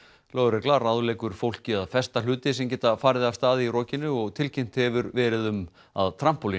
lögregla ráðleggur fólki að festa hluti sem geta farið af stað í rokinu og tilkynnt hefur verið um að